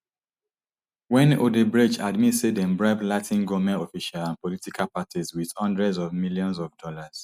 wen odebrecht admit say dem bribe latin goment officials and political parties wit hundreds of millions of dollars